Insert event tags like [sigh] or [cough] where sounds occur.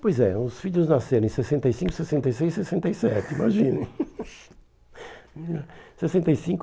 Pois é, os filhos nasceram em sessenta e cinco, sessenta e seis, sessenta e sete, imaginem. [laughs] Sessenta e cinco